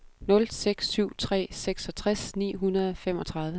nul seks syv tre seksogtres ni hundrede og femogtredive